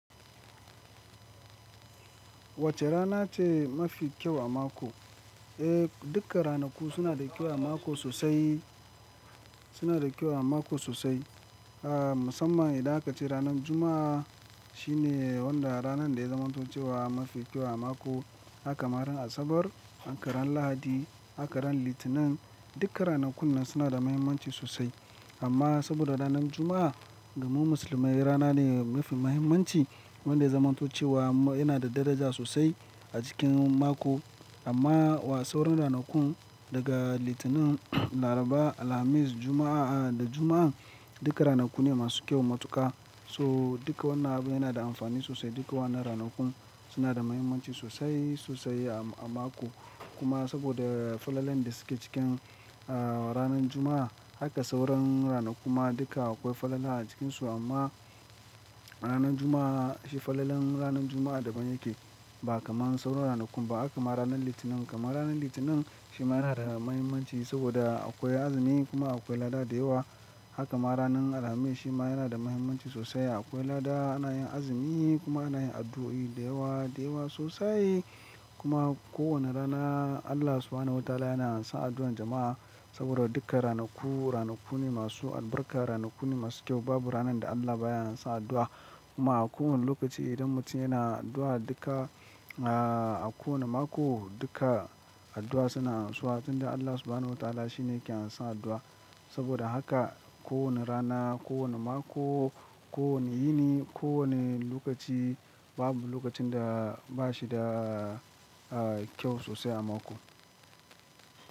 Wace rana ce mafi kyau a mako? Eh, duka ranaku suna da kyau a mako sosai, suna da kyau a mako sosai. Ah, musamman idan aka ci ranar Juma'a shine wanda ranar da ya zamanto cewa mafi kyau a mako. Haka ma ran Asabar, haka ran Lahadi, haka ran Litinin, duka ranakun nan suna da muhimmanci sosai. Amma saboda ranar Juma'a ga mu musulmai rana ne mafi muhimmanci wanda ya zamanto cewa yana da daraja sosai a cikin mako. Amma wa sauran ranakun daga Litinin, Laraba, Alhamis, Juma'a, ah, da Juma'a duka ranaku ne masu kyau matuƙa. So duka wannan abu yana da amfani sosai. Duka wannan ranakun suna da muhimmanci sosai, sosai a mako. Kuma saboda falalan da suke cikin, ah, ranar Juma'a haka sauran ranakun ma duka akwai falala a cikinsu. Amma ranar Juma'a shi falalen ranar Juma'a daban yake ba kamar sauran ranakun ba. Haka ma ranar Litinin. Kamar ranar Litinin shi ma yana da muhimmanci saboda akwai azumi kuma akwai lada da yawa. Haka ma ranar Alhamis shi ma yana da muhimmanci sosai. Akwai lada ana yin azumi kuma ana yin addu'o'i da yawa, da yawa sosai. Kuma ko wane rana Allah subhanahu wa ta'ala yana amsan addu'an jama'a saboda duka ranaku, ranaku ne masu albarka, ranaku ne masu kyau. Babu ranar da Allah baya amsa addu'a. Kuma a kowane lokaci idan mutum yana addu'a duka, ah, a kowane mako duka addu'a suna amsawa. Tun da Allah subhanahu wa ta'ala shi ne ke amsan addu'a. Saboda haka ko wane rana, ko wane mako, ko wane yini, ko wane lokaci babu lokacin da bashi da, ah, kyau sosai a mako.